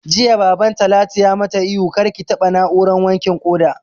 Jiya Baban Talatu ya mata ihu 'Kar ki taɓa na'urar wankin ƙoda'!